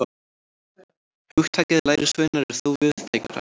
Hugtakið lærisveinar er þó víðtækara.